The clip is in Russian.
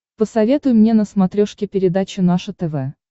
посоветуй мне на смотрешке передачу наше тв